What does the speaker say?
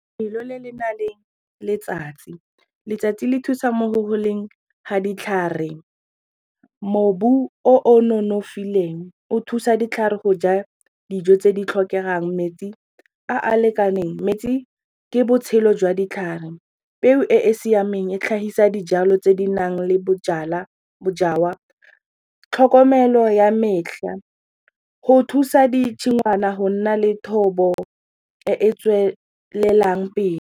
'Felo le le naleng letsatsi, letsatsi le thusang mo go goleng ga ditlhare. Mobu o o nonofileng o thusa ditlhare go ja dijo tse di tlhokegang metsi a a lekaneng metsi ke botshelo jwa ditlhare peo e e siameng e tlhagisa dijalo tse di nang le bojalwa tlhokomelo ya metlha go thusa ditshingwana go nna le thobo e e tswelelang pele.